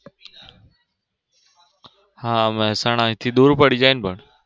હા મહેસાણા અહીં થી દૂર પડી જાય પણ